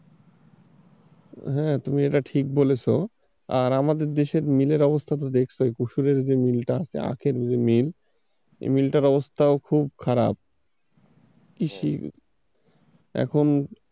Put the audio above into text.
হ্যাঁ তুমি এটা ঠিক বলেছো, আর আমাদের দেশের মিলের অবস্থা তো দেখছই পশুরের যে মিলটা আছে আখের যে মিল এই মিল টার অবস্থাও খুব খারাপ। কৃষি, এখন,